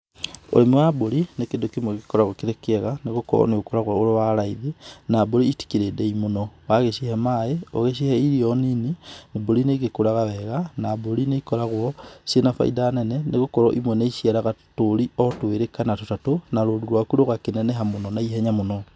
Ũrĩmi wa mbũri nĩ kĩndũ kĩmwe gĩkoragũo kĩrĩ kĩega, nĩ gũkorũo nĩ ũkoragũo ũrĩ wa raithi na mbũri itĩkĩrĩ ndĩi mũno. Wagĩcihe maĩ, ũgĩcihe irio nini, mbũri nĩ igĩkũraga wega, na mbũri nĩ igĩkoragũo ciĩ na baida nene nĩ gũkorũo imwe nĩ iciaraga tũũri o twĩrĩ kana tũtatũ na rũru rwaku rũgakĩneneha mũno na ihenya mũno.